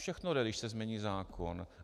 Všechno jde, když se změní zákon.